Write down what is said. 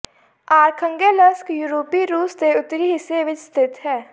ਆਰਖੰਗੇਲਸ੍ਕ ਯੂਰਪੀ ਰੂਸ ਦੇ ਉੱਤਰੀ ਹਿੱਸੇ ਵਿਚ ਸਥਿਤ ਹੈ